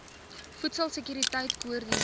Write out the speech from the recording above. voedsel sekuriteit koördineer